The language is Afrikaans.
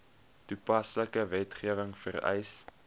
toepaslike wetgewing vereis